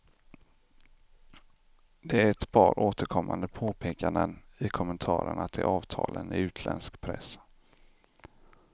Det är ett par återkommande påpekanden i kommentarerna till avtalen i utländsk press.